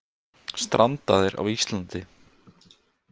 Strandaðir á Íslandi